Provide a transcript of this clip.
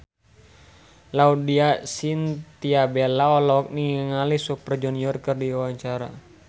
Laudya Chintya Bella olohok ningali Super Junior keur diwawancara